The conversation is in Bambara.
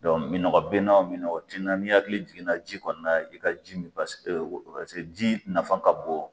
Dɔnku, minɔgɔ bɛ n na, minɔgɔ ti n na, hakili jiginna ji kɔni na na i ka ji min parce parce que ji nafa ka bɔn.